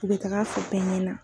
U bɛ taga a fɔ bɛɛ ɲɛ na.